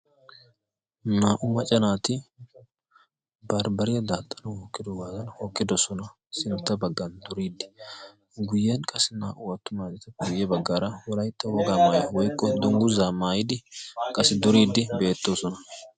naa''u macca naati baribariya daaxxana hookkido waadan hookkidosona sintta baggan doriiddi guyyiyan qassi naa''u attu maanata puuyye baggaara huraixxa woggaa maaya woikko dongguzaa maayidi qassi doriiddi beettoosona